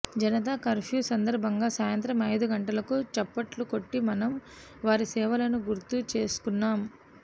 Janata curfew సందర్భంగా సాయంత్రం ఐదు గంటలకు చప్పట్లు కొట్టి మనం వారి సేవలను గుర్తు చేసుకున్నాం